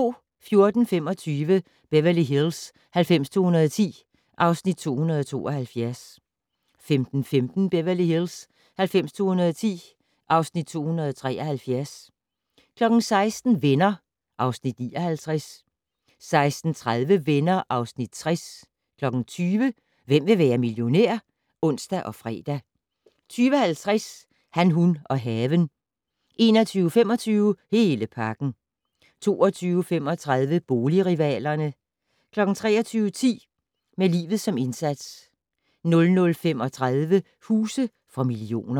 14:25: Beverly Hills 90210 (Afs. 272) 15:15: Beverly Hills 90210 (Afs. 273) 16:00: Venner (Afs. 59) 16:30: Venner (Afs. 60) 20:00: Hvem vil være millionær? (ons og fre) 20:50: Han, hun og haven 21:25: Hele pakken 22:35: Boligrivalerne 23:10: Med livet som indsats 00:35: Huse for millioner